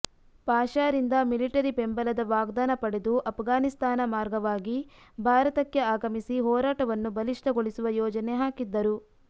ಪಾಷಾರಿಂದ military ಬೆಂಬಲದ ವಾಗ್ಧಾನ ಪಡೆದು ಅಫ್ಘಾನಿಸ್ತಾನ ಮಾರ್ಗವಾಗಿ ಭಾರತಕ್ಕೆ ಆಗಮಿಸಿ ಹೋರಾಟವನ್ನು ಬಲಿಷ್ಠಗೊಳಿಸುವ ಯೋಜನೆ ಹಾಕಿದ್ದರು